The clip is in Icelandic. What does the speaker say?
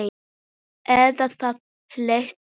Eða það hélt ég!